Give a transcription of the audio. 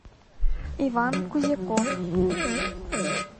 иван кузяков